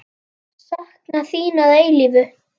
Áformin miðist nú við íbúðir.